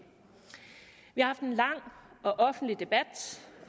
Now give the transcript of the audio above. har haft en lang og offentlig debat